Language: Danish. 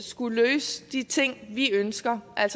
skulle løse de ting vi ønsker at